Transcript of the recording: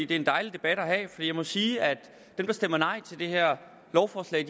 det er en dejlig debat at have jeg må sige at dem der stemmer nej til det her lovforslag